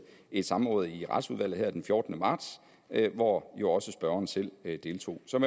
et samråd i retsudvalget her den fjortende marts hvor jo også spørgeren selv deltog som